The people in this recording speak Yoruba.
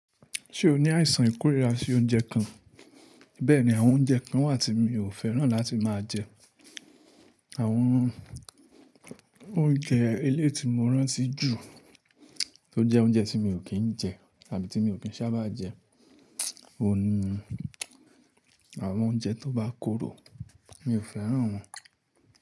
Ṣé o ní àìsàn ìkórira sí oúnjẹ kan? Bẹ́ẹ̀ ni, àwọn oúnjẹ kan wà tí mi ò fẹ́ràn láti máa jẹ. Àwọn oúnjẹ elé ti mo rántí jù, tó jẹ́ oúnjẹ tí mi ò kí ń jẹ tàbí tí mi ò kí ń sábà jẹ, òun ni àwọn oúnjẹ tó bá korò. Mi ò fẹ́ràn wọn.